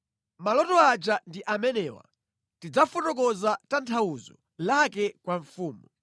“Maloto aja ndi amenewa; tidzafotokoza tanthauzo lake kwa mfumu.